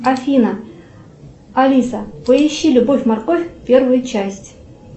афина алиса поищи любовь морковь первую часть